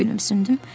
Gülümsündüm.